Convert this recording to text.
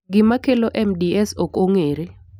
Gima kelo MDS ok ong'ere.